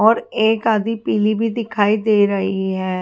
और एक आधी पीली भी दिखाई दे रही है।